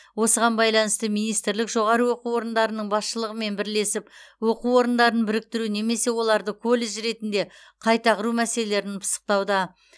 осыған байланысты министрлік жоғары оқу орындарының басшылығымен бірлесіп оқу орындарын біріктіру немесе оларды колледж ретінде қайта құру мәселелерін пысықтауда